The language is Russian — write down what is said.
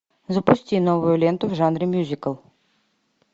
запусти новую ленту в жанре мюзикл